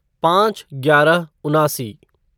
पाँच ग्यारह उनासी